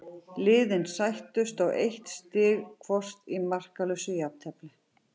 Liðin sættust á eitt stig hvort í markalausu jafntefli.